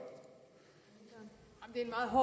har